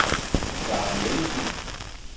Sara Nielsen